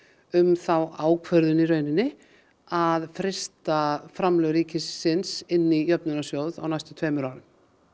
um þá ákvörðun að frysta framlög ríkisins inn í Jöfnunarsjóð á næstu tveimur árum